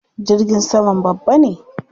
Jirgin saman babba ne?